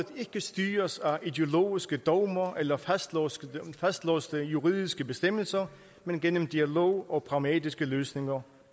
styres af ideologiske dogmer eller fastlåste fastlåste juridiske bestemmelser men gennem dialog og pragmatiske løsninger